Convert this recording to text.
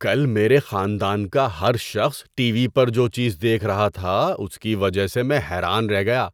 کل میرے خاندان کا ہر شخص ٹی وی پر جو چیز دیکھ رہا تھا، اس کی وجہ سے میں حیران رہ گیا